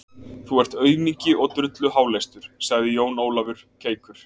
Þú ert aumingi og drulluháleistur, sagði Jón Ólafur keikur.